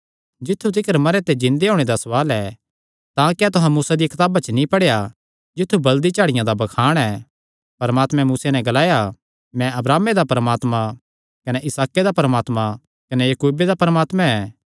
जित्थु तिकर मरेयां च जिन्दे होणे दा सवाल ऐ तां क्या तुहां मूसा दिया कताब च नीं पढ़ेया जित्थु बल़दी झाड़िया दा बखान ऐ परमात्मैं मूसैं नैं ग्लाया मैं अब्राहमे दा परमात्मा कने इसहाके दा परमात्मा कने याकूबे दा परमात्मा ऐ